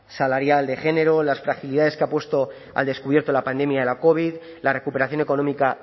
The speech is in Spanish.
salarial de género las fragilidades que ha puesto al descubierto la pandemia de la covid la recuperación económica